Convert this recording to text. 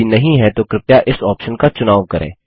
यदि नहीं है तो कृपया इस ऑप्शन का चुनाव करें